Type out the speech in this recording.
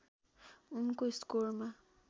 उनको स्कोरमा